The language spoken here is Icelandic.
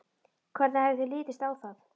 Hvernig hefði þér litist á það?